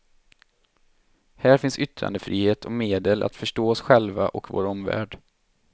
Här finns yttrandefrihet och medel att förstå oss själva och vår omvärld.